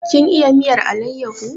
Kin iya miyar alayyaho?